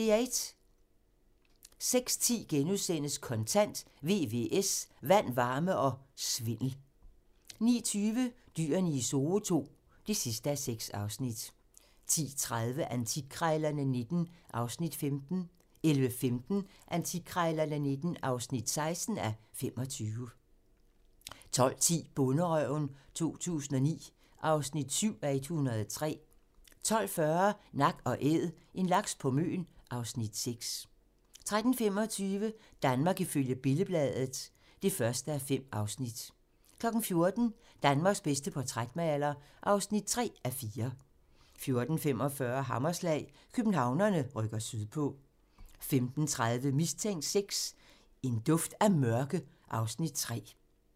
06:10: Kontant: VVS - Vand, varme og svindel * 09:20: Dyrene i Zoo II (6:6) 10:30: Antikkrejlerne XIX (15:25) 11:15: Antikkrejlerne XIX (16:25) 12:10: Bonderøven 2009 (7:103) 12:40: Nak & Æd - en laks på Møn (Afs. 6) 13:25: Danmark ifølge Billed-Bladet (1:5) 14:00: Danmarks bedste portrætmaler (3:4) 14:45: Hammerslag - Københavnerne rykker sydpå 15:30: Mistænkt IV: Duft af mørke (Afs. 3)